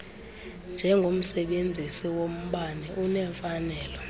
njengomsebenzisi wombane unemfanelo